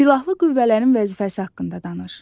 Silahlı qüvvələrin vəzifəsi haqqında danış.